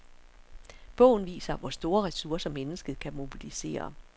Bogen viser, hvor store ressourcer, mennesket kan mobilisere.